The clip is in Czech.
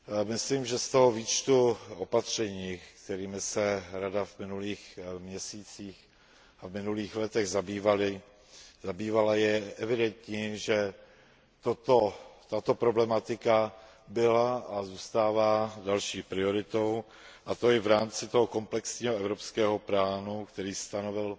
Myslím, že z toho výčtu opatření, kterými se Rada v minulých měsících a v minulých letech zabývala, je evidentní, že tato problematika byla a zůstává další prioritou, a to i v rámci toho komplexního evropského plánu, který stanovil